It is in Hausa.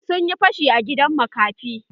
Sun yi fashi a gidan makafi.